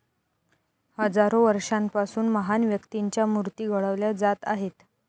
हजारो वर्षांपासून महान व्यक्तींच्या मूर्ती घडवल्या जात आहेत.